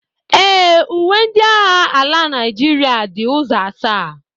Ee, uwe ndị agha ala Naịjirịa dị ụzọ asaa